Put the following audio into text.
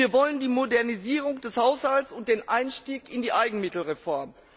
Wir wollen die Modernisierung des Haushalts und den Einstieg in die Eigenmittelreform.